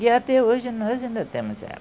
E até hoje nós ainda temos elas.